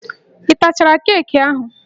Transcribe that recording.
Ị tachara keeki ahụ?